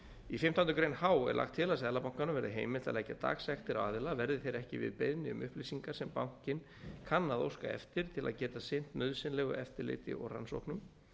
í fimmtándu grein h er lagt til að seðlabankanum verði heimilt að leggja dagsektir á aðila verði þeir ekki við beiðni um upplýsingar sem bankinn kann að óska eftir til að geta sinnt nauðsynlegu eftirliti og rannsóknum